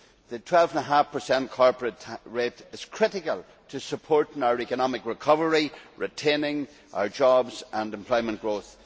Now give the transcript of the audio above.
The twelve and half per cent corporate rate is critical to supporting our economic recovery, retaining our jobs and employment growth.